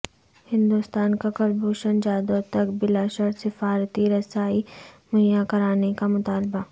ہندوستان کا کلبھوشن جادھو تک بلا شرط سفارتی رسائی مہیا کرانے کا مطالبہ